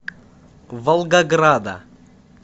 волгограда